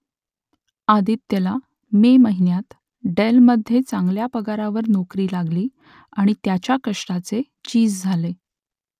आदित्यला May महिन्यात डेलमधे चांगल्या पगारावर नोकरी लागली आणि त्याच्या कष्टाचे चीज झाले